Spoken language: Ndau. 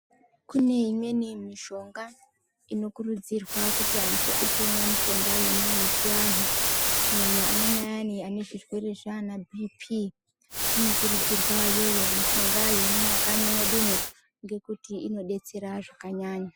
Kune imweni mishonga inokurudzirwa kuti antu atomwa mishonga iyona ye chi antu kunyanya amweni ayani ane zvirwere zvana bhipi inokurudzirwa yoyo mishonga yemu makanyi mwedu mwo ngekuti ino detsera zvakanyanya.